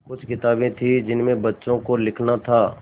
कुछ किताबें थीं जिनमें बच्चों को लिखना था